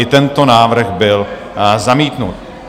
I tento návrh byl zamítnut.